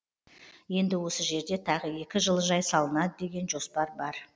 енді осы жерде тағы екі жылыжай салынады деген жоспар бар